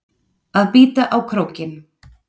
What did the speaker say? Að bíta á krókinn